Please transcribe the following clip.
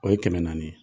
O ye kɛmɛ naani ye